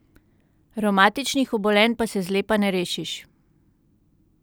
Revmatičnih obolenj pa se zlepa ne rešiš.